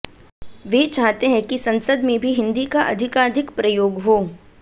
वे चाहते हैं कि संसद में भी हिन्दी का अधिकाधिक प्रयोग हो